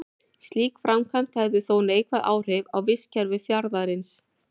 Slík framkvæmd hefði þó neikvæð áhrif á vistkerfi fjarðarins.